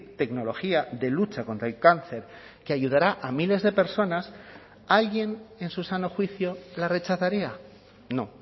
tecnología de lucha contra el cáncer que ayudará a miles de personas alguien en su sano juicio la rechazaría no